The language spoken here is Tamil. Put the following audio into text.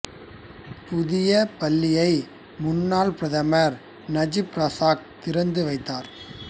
புதிய பள்ளியை முன்னாள் பிரதமர் நஜீப் ரசாக் திறந்து வைத்தார்